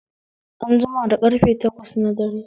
An jima da karfe takwas na dare